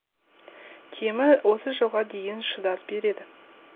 кемі отыз жылға дейін шыдас береді